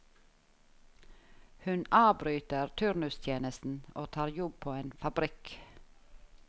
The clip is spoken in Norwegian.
Hun avbryter turnustjenesten og tar jobb på en fabrikk.